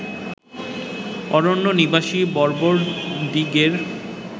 অরণ্যনিবাসী বর্বরদিগের